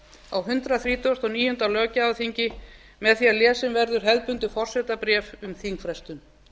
á hundrað þrítugasta og níunda löggjafarþingi með því að lesið verður hefðbundið forsetabréf um þingfrestun